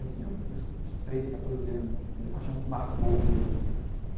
Eu tinha uns treze, quatorze anos, a primeira paixão que marcou mesmo, né?